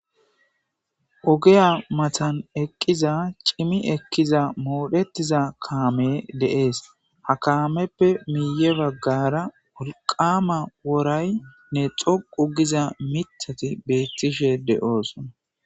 Ogiyaa mathan eqqiza cimi ekkiza moodheththiza kaamee de7ees; ha kaameppe miyye baggaara wolqqaama woraynne xoqqu giza miththathi beeththishe de7oosona.